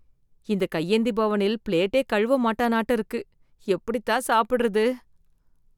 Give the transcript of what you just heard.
இந்த கையேந்தி பவனில் பிளேட்டே கழுவ மாட்டானாட்ட இருக்கு! எப்படி தான் சாப்பிடுறது?